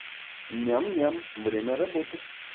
ням ням время работы